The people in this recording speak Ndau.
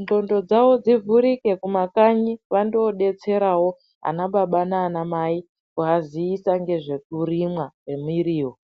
nxondo dzavo dzivhurike kumakanyi vandoodetserawo ana baba nana mai kuaziisa ngezvekurimwa kwemuriwo.